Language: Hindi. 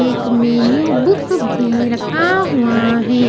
एक मेन्यू बुक भी रखा हुआ हैं।